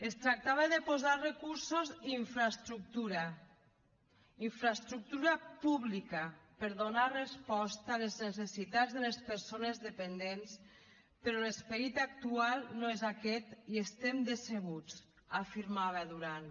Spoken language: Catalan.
es tractava de posar recursos i infraestructura infraestructura pública per donar resposta a les necessitats de les persones dependents però l’esperit actual no és aquest i estem decebuts afirmava durán